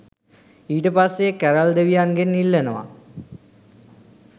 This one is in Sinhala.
ඊට පස්සේ කැරල් දෙවියන්ගෙන් ඉල්ලනවා